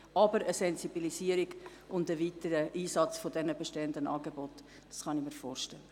Aber eine Sensibilisierung und ein weiterer Einsatz der bestehenden Angebote, das kann ich mir vorstellen.